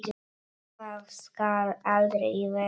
Það skal aldrei verða!